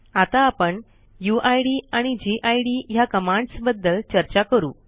आता आपण यूआयडी आणि गिड ह्या कमांडस बद्दल चर्चा करू